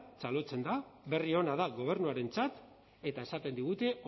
txalotzen da berri ona da gobernuarentzat eta esaten digute